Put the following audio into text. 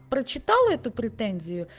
прочитала эту претензию